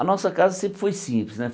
A nossa casa sempre foi simples, né?